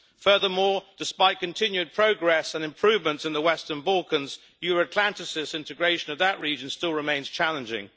Furthermore, despite continued progress and improvements in the Western Balkans, Euro Atlanticist integration of that region still remains challenging.